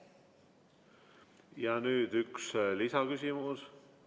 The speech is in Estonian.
Nüüd üks lisaküsimus.